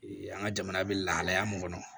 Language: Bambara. an ka jamana bɛ lahalaya mun kɔnɔ